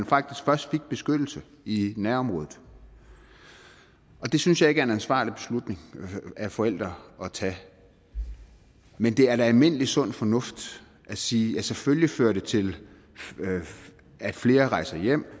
faktisk først fik beskyttelse i nærområdet det synes jeg ikke er en ansvarlig beslutning af forældre at tage men det er da almindelig sund fornuft at sige at det selvfølgelig fører til at flere rejser hjem